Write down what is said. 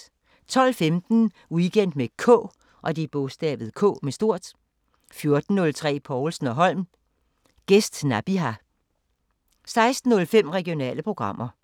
12:15: Weekend med K 14:03: Povlsen & Holm: Gæst Nabiha 16:05: Regionale programmer